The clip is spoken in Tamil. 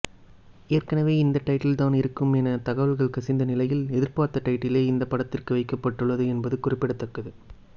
ஏற்கனவே இந்த டைட்டில்தான் இருக்கும் என தகவல்கள் கசிந்த நிலையில் எதிர்பார்த்த டைட்டிலே இந்த படத்திற்கு வைக்கப்பட்டுள்ளது என்பது குறிப்பிடத்தக்கது